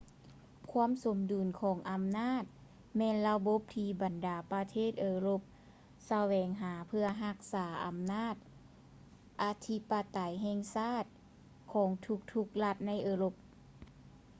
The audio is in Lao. ຄວາມສົມດຸນຂອງອຳນາດແມ່ນລະບົບທີ່ບັນດາປະເທດເອີຣົບສະແຫວງຫາເພື່ອຮັກສາອຳນາດອະທິປະໄຕແຫ່ງຊາດຂອງທຸກໆລັດໃນເອີຣົບ